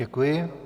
Děkuji.